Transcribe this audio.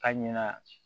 A ɲɛna